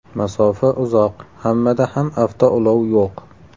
Masofa uzoq, hammada ham avtoulov yo‘q.